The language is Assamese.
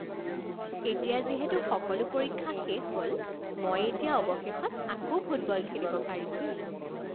এতিয়া যিহেতু সকলো পৰীক্ষা শেষ হ'ল মই এতিয়া অৱশেষত আকৌ ফুটবল খেলিব পাৰিম।